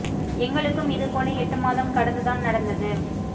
எங்களுக்கும் இது போல எட்டு மாதம் கடந்து தான் நடந்தது